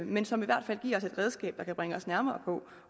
men som i hvert fald giver os et redskab der kan bringe os nærmere på